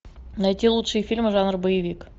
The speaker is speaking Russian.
найти лучшие фильмы жанра боевик